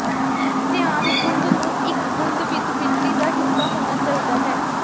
ਧਿਆਨ ਗੁੰਦ ਨੂੰ ਇੱਕ ਗੁੰਦ ਵਿੱਚ ਬਿਜਲੀ ਦਾ ਹਿੱਸਾ ਹੋਣਾ ਚਾਹੀਦਾ ਹੈ